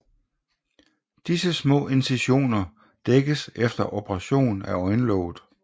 Disse små incisioner dækkes efter operationen af øjenlåget